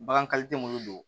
Bagan tɛ munnu don